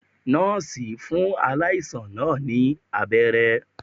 Nọ́ọ̀sì fún aláìsàn náà ní abẹ́rẹ́